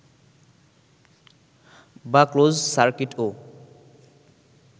বা ক্লোজ সার্কিটও